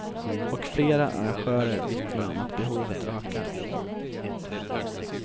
Och flera arrangörer vittnar om att behovet ökar.